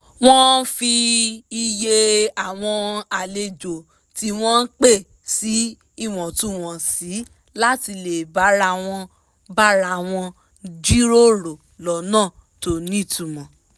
wọ́n fi iye àwọn àlejò tí wọ́n pè sí ìwọ̀túnwọ̀nsì láti lè bára wọn bára wọn jíròrò lọ́nà tó nítumọ̀